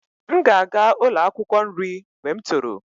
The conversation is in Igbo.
M ga-aga ụlọ akwụkwọ nri mgbe m toro